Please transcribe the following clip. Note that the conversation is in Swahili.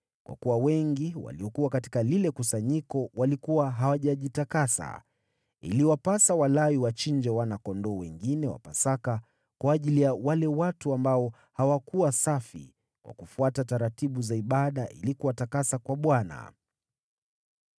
Kwa kuwa wengi waliokuwa katika lile kusanyiko walikuwa hawajajitakasa, iliwapasa Walawi wachinje wana-kondoo wengine wa Pasaka kwa ajili ya wale watu ambao hawakuwa safi, kwa kufuata taratibu za ibada ili kuwatakasa kwa Bwana .